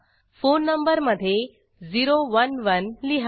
phone number मध्ये 011 लिहा